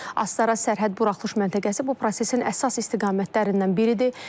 Astara sərhəd buraxılış məntəqəsi bu prosesin əsas istiqamətlərindən biridir.